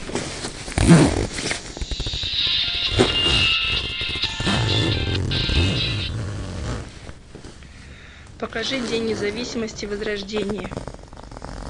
покажи день независимости возрождение